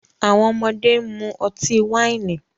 Awọn ọmọde n mu ọti-waini